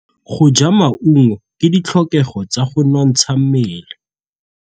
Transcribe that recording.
Go ja maungo ke ditlhokegô tsa go nontsha mmele.